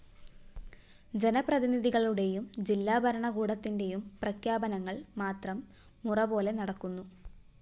ജനപ്രതിനിധികളുടെയും ജില്ലാഭരണകൂടത്തിന്റെയും പ്രഖ്യാപനങ്ങള്‍ മാത്രം മുറ പോലെ നടക്കുന്നു